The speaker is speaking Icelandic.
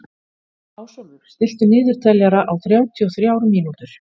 Ásólfur, stilltu niðurteljara á þrjátíu og þrjár mínútur.